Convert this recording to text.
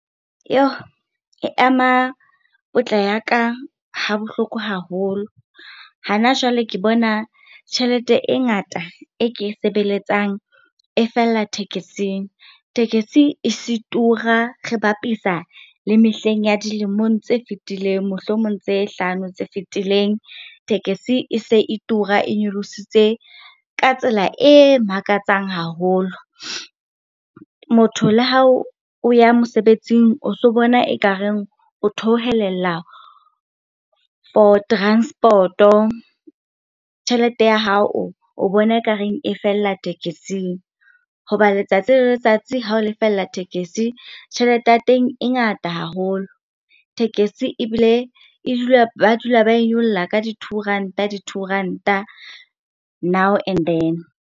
E ama potla ya ka ha bohloko haholo. Hana jwale, ke bona tjhelete e ngata e ke e sebeletsang e fella tekesing. Tekesi e se tura re bapisa le mehleng ya dilemong tse fetileng, mohlomong tse hlano tse fetileng. Tekesi e se e tura, e nyolositse ka tsela e makatsang haholo. Motho le hao o ya mosebetsing o so bona ekareng o theohelella for transport-o, tjhelete ya hao o bona ekareng e fella tekesing. Hoba letsatsi le letsatsi ha o lefella tekesi, tjhelete ya teng e ngata haholo. Tekesi ebile e dula, ba dula ba e nyolla ka di-two ranta, di-two ranta now and then.